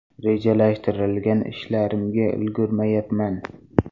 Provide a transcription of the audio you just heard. Rejalashtirilgan ishlarimga ulgurmayapman.